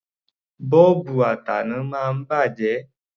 Bọ́ọ̀bù ataná máa ń bàjẹ́.